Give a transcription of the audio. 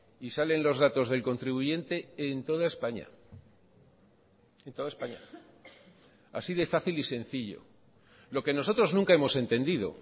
y salen los datos del contribuyente en toda españa en toda españa así de fácil y sencillo lo que nosotros nunca hemos entendido